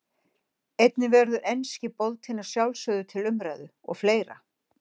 Einnig verður enski boltinn að sjálfsögðu til umræðu og fleira.